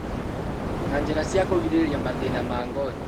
Na njĩra cia kũrigĩrĩria mathĩna ma ngothi